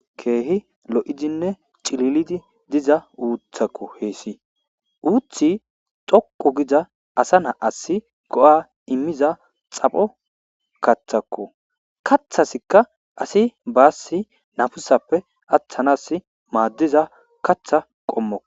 Keehi lo7idinne cililidi diza uuththakko heessi; uuththi xoqqu gidza asa na7assi go7aa immiza xapho kaththakko; kaththasikka asi baassi nafisappe aththanaassi maaddiza kaththa qommo.